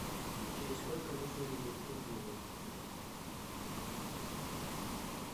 через сколько нужно менять турбину